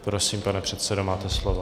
Prosím, pane předsedo, máte slovo.